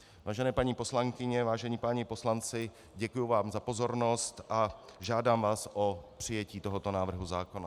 Vážené paní poslankyně, vážení páni poslanci, děkuji vám za pozornost a žádám vás o přijetí tohoto návrhu zákona.